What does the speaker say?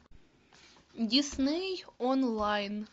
дисней онлайн